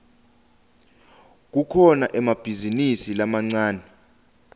kukhona emabhizinisi lamancane